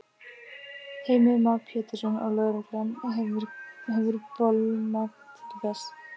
Heimir Már Pétursson: Og lögreglan hefur bolmagn til þess?